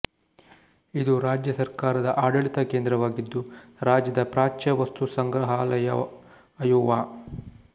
ಇದು ರಾಜ್ಯ ಸರ್ಕಾರದ ಆಡಳಿತ ಕೇಂದ್ರವಾಗಿದ್ದು ರಾಜ್ಯದ ಪ್ರಾಚ್ಯ ವಸ್ತು ಸಂಗ್ರಹಾಲಯಅಯೋವಾ